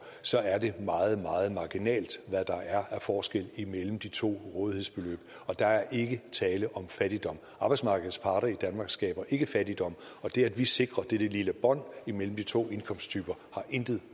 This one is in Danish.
så er det meget meget marginalt hvad der er af forskel imellem de to rådighedsbeløb og der er ikke tale om fattigdom arbejdsmarkedets parter i danmark skaber ikke fattigdom og det at vi sikrer dette lille bånd imellem de to indkomsttyper har intet